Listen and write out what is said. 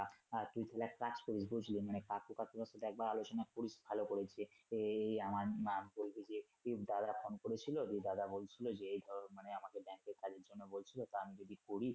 হ্যা তুই তাহলে এক কাজ করিস বুঝলি কাকু কাকির সাথে একবার আলোচনা করিস ভালো করে আহ আমার নাম বলবি যে দাদা ফোন করেছিলো যে দাদা বলছিলো যে এই ধরো আমাকে ব্যাংকে কাজের জন্য বলছিলো তা আমি যদি করি